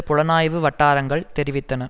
புலனாய்வு வட்டாரங்கள் தெரிவித்தன